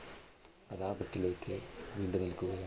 പ്രതാപത്തിലേക്ക് വീണ്ടും goal